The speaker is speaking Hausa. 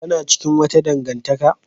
Kana cikin wata dangantaka?